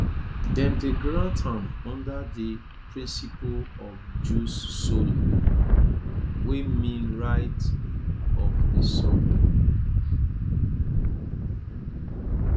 dem dey grant am under di principle of jus soli wey mean right of di soil